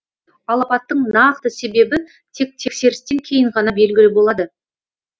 ал апаттың нақты себебі тек тексерістен кейін ғана белгілі болады